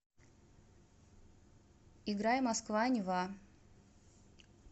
играй москва нева